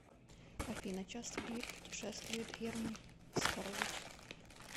афина часто ли путешествует герман оскарович